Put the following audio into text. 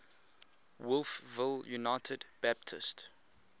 wolfville united baptist